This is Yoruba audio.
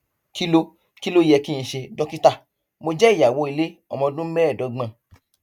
kí ló kí ló yẹ kí n ṣe dókítà mo jẹ ìyàwó ilé ọmọ ọdún mẹẹẹdọgbọn